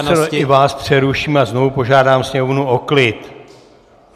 Pane předsedo, i vás přeruším a znovu požádám sněmovnu o klid.